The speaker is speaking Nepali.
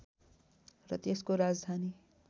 र त्यसको राजधानी